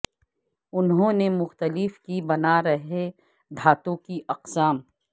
انہوں نے مختلف کی بنا رہے دھاتوں کی اقسام